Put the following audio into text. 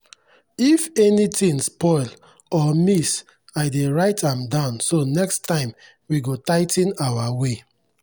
if anything spoil or miss i dey write am down so next time we go tigh ten our way.